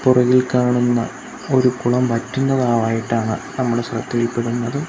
പുറകിൽ കാണുന്ന ഒരു കുളം വറ്റുന്നതാവായിട്ടാണ് നമ്മുടെ ശ്രദ്ധയിൽപ്പെടുന്നത്.